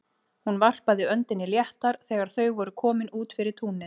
Hún varpaði öndinni léttar þegar þau voru komin út fyrir túnið.